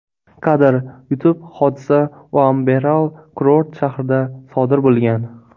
Kadr: YouTube Hodisa Uamberal kurort shahrida sodir bo‘lgan.